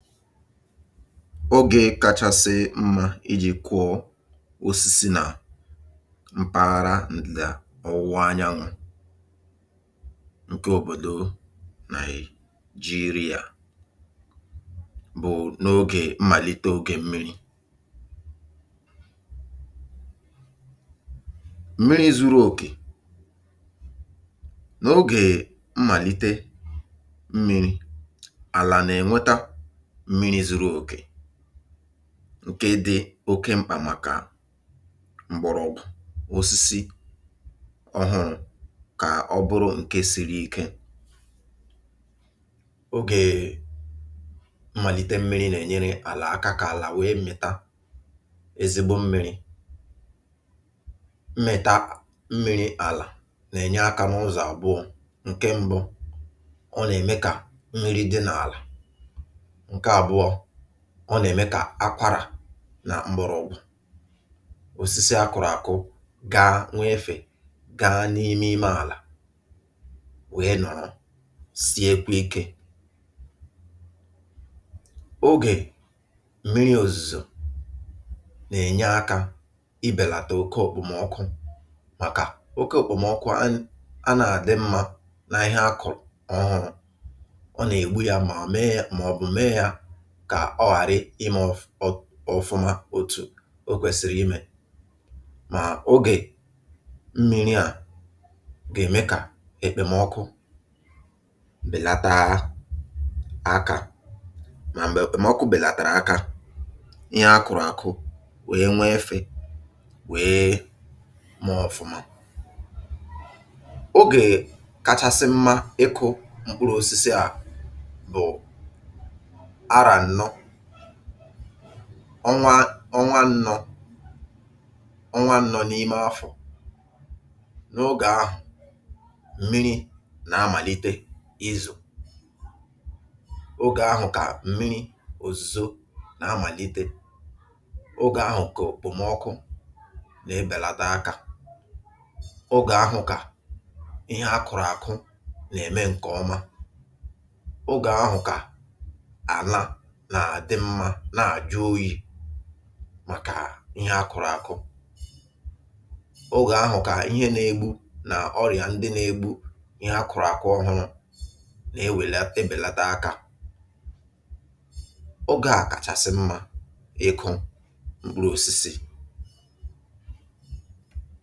Ogè kachasị mmȧ iji̇ kụọ osisi nà mpaghara ǹdịda ọwụwa anyanwụ̇ ǹkè òbòdò Nàịjirịa bụ̀ n’ogè mmàlite ogè mmiri. Mmiri zuru òkè n’ogè mmàlite mmiri, àlà nà-enweta mmiri zuru oke ǹke dị oke mkpà màkà m̀gbọ̀rọ̀gwụ osisi ọhụrụ̇ kà ọ bụrụ ǹke siri ike. Ogè mmàlite mmi̇ri̇ nà-ènyere àlà aka kà àlà wee mịta ezigbo mmi̇ri̇. Mmịta mmiri̇ àlà nà-ènye akȧ nụzọ̀ àbụọ̇. Nke ṁbụ̇, ọ nà-ème kà mmiri dị n’àlà. Nke abụọ, ọ nà eme kà akwarà nà mgbọrọgwụ̇ òsisi akụ̀rụ̀ àkụ gaa nweefè gaa n’ime ime àlà wèe nọ̀rọ siekwe ikė. Ogè mmiri ozùzò nà ènye akȧ ibèlàtà oke òkpòmọkụ màkà oke òkpòmọkụ um anà àdị mmȧ nà ihe akụ̀ ọhụrụ̇. Ọ nà ègbu yȧ mà mee yȧ kà ọ ghàrị ime um ụfụ ọfụma ma otu̇ o kwèsịrị imè. Mà ogè mmiri à gà-ème kà ekpèmọkụ bèlataa akȧ mà m̀gbè ekpemọ̀kụ bèlàtàrà aka, ihe a kụ̀rụ̀ àkụ wee nweefe wee mee ọfụma. Ogè kachasị mma ịkụ̇ mkpụrụ osisi à bụ̀ ara annọ ọnwa ọnwa ǹnọ ọnwa ǹnọ nọ n’ime ofù. N’ogè ahụ̀, mmiri̇ nà amàlite izo. Ogè ahụ̀ kà m̀miri̇ òzùzo nà amàlite, ogè ahụ̀ kà okpòmọkụ nà-ebèlado akȧ, ogè ahụ̀ kà ihe akụ̀rụ̀ àkụ nà-ème ǹkèọma, oge ahụ ka ala na-adị mma nà-àjụ oyi̇ màkà ihe akụ̇rụ̇ àkụ. Ogè ahụ̀ kà ihe nȧ-ėgbu̇ nà ọrị̀à ndị nȧ-ėgbu̇ ihe akụ̇rụ̇ àkụ ọhụrụ nà-ewèlata ebèlata akȧ. Ogė à kàchàsị̀ mmȧ ịkụ̇ m̀kpụrụ òsìsì.